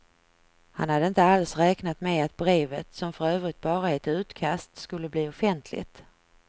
Han hade inte alls räknat med att brevet, som för övrigt bara är ett utkast, skulle bli offentligt.